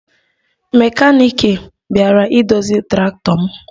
Mekaniki bịara idozi traktọ m